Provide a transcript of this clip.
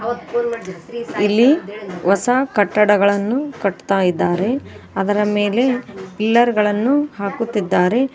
ಇಲ್ಲಿ ಹೊಸ ಕಟ್ಟಡಗಳನ್ನು ಕಟ್ತಾ ಇದ್ದಾರೆ ಅದರ ಮೇಲೆ ಪಿಲ್ಲರ್ಗಳನ್ನು ಹಾಕುತ್ತಿದ್ದಾರೆ.